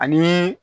Ani